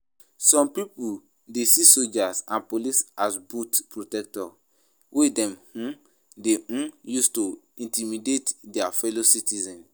Some people dey see soldiers and police as boot protectors wey dem um dey um use to intimidate dia fellow citizens.